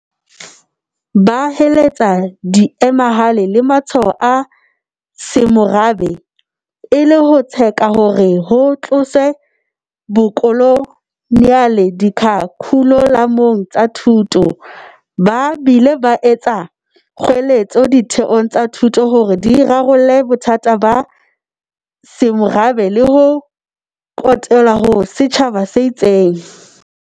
Ba heletsa diemahale le matshwao a semorabe, e le ho tseka hore ho tloswe bokoloniale dikharikhulamong tsa thuto, ba bile ba etsa kgoeletso ditheong tsa thuto hore di rarolle bothata ba semorabe le ho kotelwa ha setjhaba se itseng.